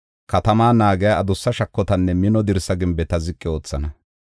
Katamaa naagiya adussa shakotanne mino dirsa gimbeta ziqi oothana.